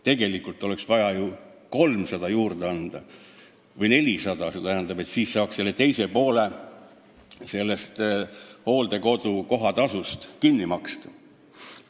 Tegelikult oleks vaja juurde anda ju 300 või 400 eurot, siis saaks teise poole hooldekodu kohatasust kinni maksta.